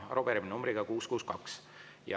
Arupärimine numbriga 662.